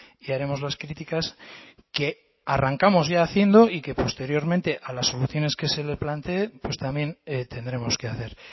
y haremos las críticas que arrancamos ya haciendo y que posteriormente a las soluciones que se le plantee pues también tendremos que hacer